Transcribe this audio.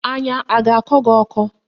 Anya a ga-akọ gị ọkọ?